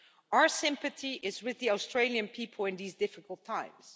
Our sympathy is with the Australian people in these difficult times.